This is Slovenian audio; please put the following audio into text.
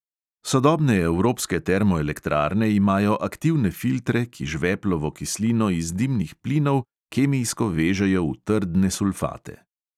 Sodobne evropske termoelektrarne imajo aktivne filtre, ki žveplovo kislino iz dimnih plinov kemijsko vežejo v trdne sulfate.